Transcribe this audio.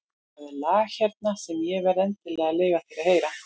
Það er lag hérna sem ég verð endilega að leyfa þér að heyra.